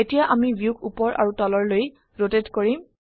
এতিয়া আমি ভিউক উপৰ আৰু তলৰলৈ ৰোটেট কৰিম